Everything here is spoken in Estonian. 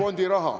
Kadunud!